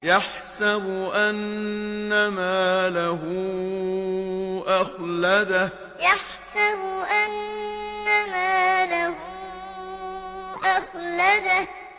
يَحْسَبُ أَنَّ مَالَهُ أَخْلَدَهُ يَحْسَبُ أَنَّ مَالَهُ أَخْلَدَهُ